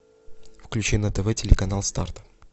включи на тв телеканал старт